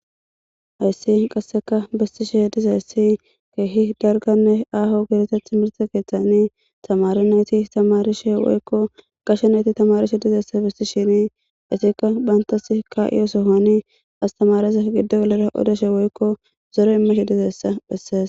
Hayssi qassika bessishee dizayssi keehi dalgganne aaho gidida thimirththe keeththani thamaare naathi thamaarishee woykko gashe na7ithi thamaarishe dizayssa bessishiini ethikka banththassi kaa7iyo sohuwaani asththamaarutho giddo gelidi odashe woykko zore immishe dizayssa bessees.